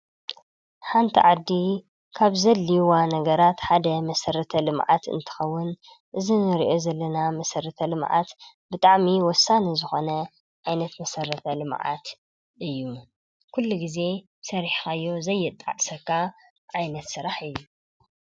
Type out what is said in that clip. ሓንቲ ዓዲ ካብ ዘድልይዋ ነገራት ሓደ መሰረተ-ልምዓት እንትኸውን፣ እዚ ንሪኦ ዘለና መሰረተ ልምዓት ብጣዕሚ ወሳኒ ዝኾነ ዓይነት መሰረተ-ልምዓት እዩ፡፡ ኩሉ ጊዜ ሰሪሕኻዮ ዘየጣዕሰካ ዓይነት ስራሕ እዩ፡፡